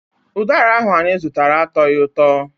Ụdara ahụ anyị zụtara atọghị ụtọ.